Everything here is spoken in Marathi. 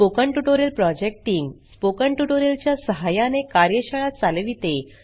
spoken tutorial project team spoken tutorial च्या सहाय्याने कार्यशाळा चालविते